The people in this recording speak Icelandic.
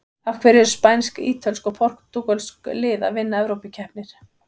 Af hverju eru spænsk, ítölsk og portúgölsk lið að vinna evrópukeppnir?